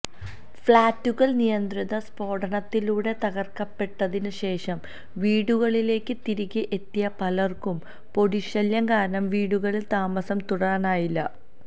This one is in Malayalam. ഫ്ലാറ്റുകൾ നിയന്ത്രിത സ്ഫോടനത്തിലൂടെ തകർക്കപ്പെട്ടതിന് ശേഷം വീടുകളിലേക്ക് തിരികെ എത്തിയ പലർക്കും പൊടിശല്യം കാരണം വീടുകളിൽ താമസം തുടരാനായില്ല